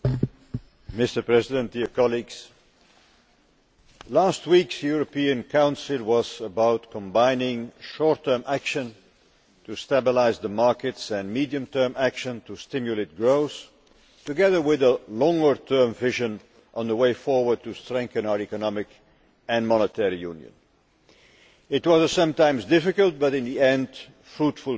Mr President, last week's European Council was about combining short term action to stabilise the markets and medium term action to stimulate growth, together with a longer term vision on the way forward to strengthen our Economic and Monetary Union. It was a sometimes difficult but in the end fruitful meeting.